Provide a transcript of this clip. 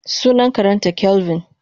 Sunan karenta kelvin.